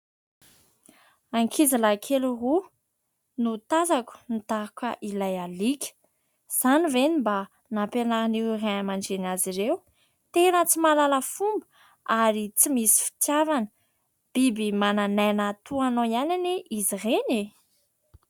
Ankizilahy kely roa no tazako nidaroka ilay alika, izany ve ny mba nampianaran'ireo Ray aman-dreny azy ireo, tena tsy mahalala fomba ary tsy misy fitiavana, biby manan'aina toa anao ihany anie izy ireny e.